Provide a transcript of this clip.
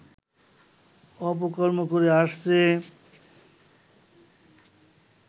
অপকর্ম করে আসছে